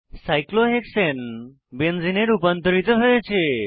cyclohexane বেনজেনে benzene এ রুপান্তরিত হয়েছে